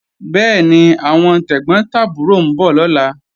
Bẹ́ẹ̀ni, àwọn tẹ̀gbọ́n tàbúrò ń bọ̀ lọ́la